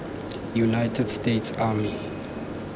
united states army